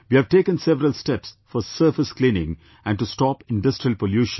We have taken several steps for surface cleaning and to stop industrial pollution